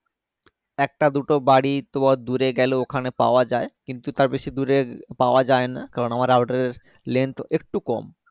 একটা দুটো বাড়ি তোমার দূরে গেলো ওখানে পাওয়া যায় কিন্তু তার বেশি দূরে পাওয়া যায়না কারণ আমার router length একটু কম